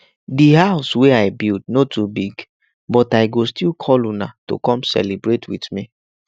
di house wey i build no too big but i go still call una to come celebrate with me